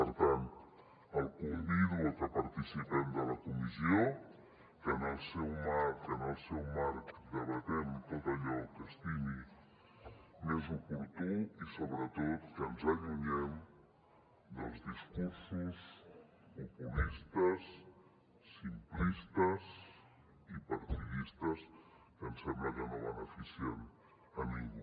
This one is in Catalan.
per tant el convido que participem de la comissió que en el seu marc debatem tot allò que estimi més oportú i sobretot que ens allunyem dels discursos populistes simplistes i partidistes que ens sembla que no beneficien a ningú